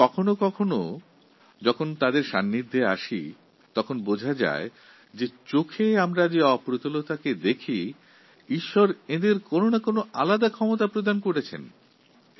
কিন্তু কখনও কখনও যখন তাদের সঙ্গে পরিচিত হই তখন বুঝতে পারি যে আমাদের দৃষ্টিতে সেই মানুষটির কিছু অপূর্ণতা রয়েছে কিন্তু ঈশ্বর তাঁকে কিছু এক্সট্রাপাওয়ার দিয়েছেন